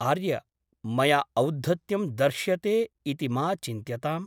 आर्य ! मया औद्धत्यं दर्श्यते इति मा चिन्त्यताम् ।